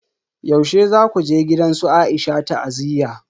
Yaushe zaku je gidan su Aisha ta'aziyya?